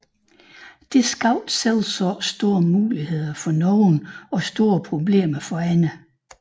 Dette skabte selvsagt store muligheder for nogle og store problemer for andre